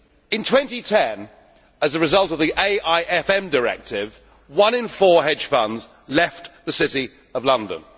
In 2010, as a result of the AIFM Directive, one in four hedge funds left the City of London.